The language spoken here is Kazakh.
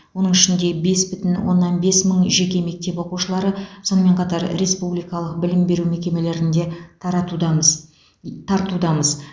оның ішінде бес бүтін оннан бес мың жеке мектеп оқушылары сонымен қатар республикалық білім беру мекемелерінде таратудамыз тартудамыз